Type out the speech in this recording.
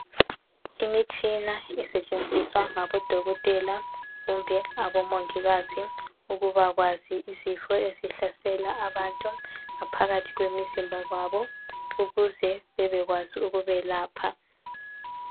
Imitshina esetshenziswa ngabodokotela kumbe abomongikazi ukuze bebekwazi izifo ezihlasela abantu ngaphakathi kwemizimba yabo ukuze bebekwazi ukubayelapha